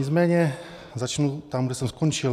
Nicméně začnu tam, kde jsem skončil.